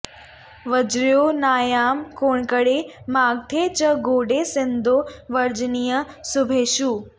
वर्ज्यो नायं कौङ्कणे मागधे च गौडे सिन्धौ वर्जनीयः शुभेषु